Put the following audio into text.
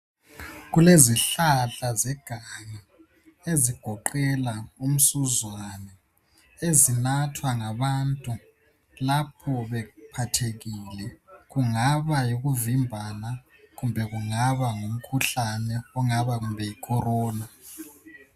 Kulezihlahla zeganga, ezigoqela umsuzwane. Ezinathwa ngabantu, lapho bephathekile. Kungaba yikuvimbana. Kumbe kungaba ngumkhuhlane ongaba kumbe yiCorona.